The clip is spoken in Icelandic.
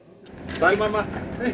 sæl mamma